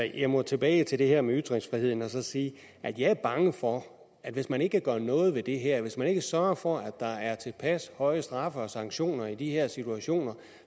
jeg må tilbage til det her med ytringsfriheden og så sige at jeg er bange for at hvis man ikke gør noget ved det her hvis man ikke sørger for at der er tilpas høje straffe og sanktioner i de her situationer